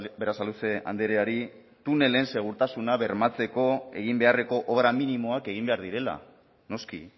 berasaluze andreari tunelen segurtasuna bermatzeko egin beharreko obra minimoak egin behar direla noski